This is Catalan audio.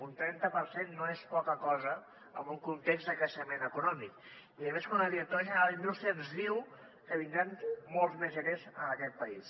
un trenta per cent no és poca cosa en un context de creixement econòmic i més quan la directora general d’indústria ens diu que vindran molts més eros en aquest país